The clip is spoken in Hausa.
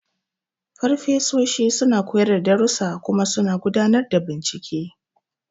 Farfesoshi suna koyar da darussa kuma suna gudanar da bincike.